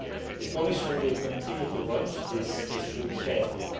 The Commission will continue to watch this issue carefully.